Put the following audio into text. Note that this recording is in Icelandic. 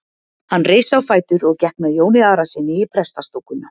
Hann reis á fætur og gekk með Jóni Arasyni í prestastúkuna.